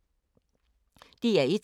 DR1